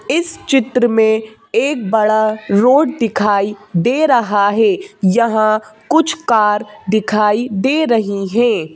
इस चित्र में एक बड़ा रोड दिखाई दे रहा है यहां कुछ कार दिखाई दे रही है।